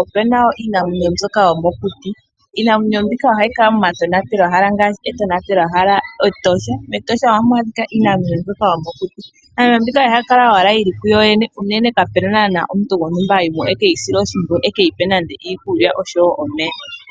opena woo iinamwenyo mbyoka yomokuti. Iinamwenyo mbika ohayi kala momatonatelwa hala ngaashi etonatelwahala Etosha . Metosha ohamu adhika iinamwenyo mbyoka yomokuti. Iinamwenyo mbika ohayi kala owala yili ku yoyene unene kapena naana omuntu gontumba ha yimo ekeyi sile oshimpwiyu ekeyi pe nande iikulya oshowo omeya.